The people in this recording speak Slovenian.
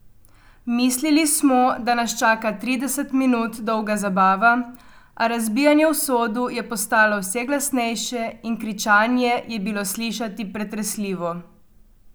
Mislili smo, da nas čaka trideset minut dolga zabava, a razbijanje v sodu je postajalo vse glasnejše in kričanje je bilo slišati pretresljivo.